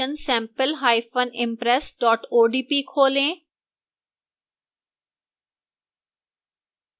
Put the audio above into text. वही presentation sampleimpress odp खोलें